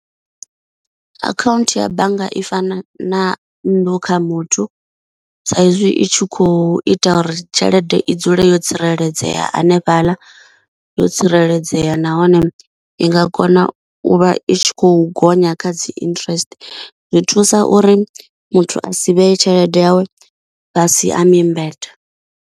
Akhaunthu ya bannga i fana na nnḓu kha muthu sa izwi i tshi kho ita uri tshelede i dzule yo tsireledzea hanefhaḽa, yo tsireledzea nahone i nga kona u vha i tshi khou gonya kha dzi interest, zwi thusa uri muthu a si vhee tshelede yawe fhasi ha mi mmbete.